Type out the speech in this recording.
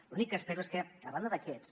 l’únic que espero és que a banda d’aquests